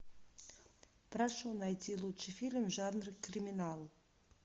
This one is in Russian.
прошу найти лучший фильм в жанре криминал